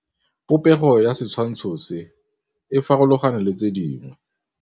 Popêgo ya setshwantshô se, e farologane le tse dingwe.